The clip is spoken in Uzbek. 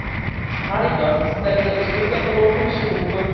Xaridor istalgan uslubda to‘lov qilishi mumkin.